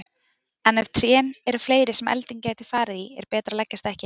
En ef trén eru fleiri sem elding gæti farið í er betra að leggjast ekki.